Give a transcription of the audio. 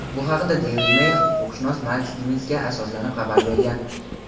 Bu haqda "Daily Mail" huquqshunos Mark Stivensga asoslanib xabar bergan.